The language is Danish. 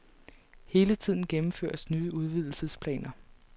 Hele tiden gennemføres nye udvidelsesplaner.